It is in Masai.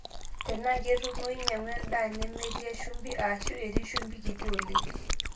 Tenaa ketumoyu, nyang'u endaa nemetii shumbi aashu etii shumbi kiti oleng'.